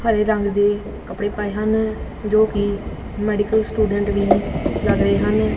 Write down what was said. ਹਰੇ ਰੰਗ ਦੇ ਕੱਪੜੇ ਪਾਏ ਹਨ ਜੋ ਕਿ ਮੈਡੀਕਲ ਸਟੂਡੈਂਟ ਵੀ ਲੱਗ ਰਹੇ ਹਨ।